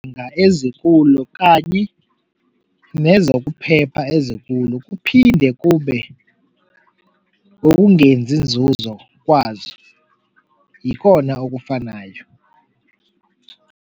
ezikulo kanye nezokuphepha ezikulo, kuphinde kube ukungenzi inzuzo kwazo, yikona okufanayo.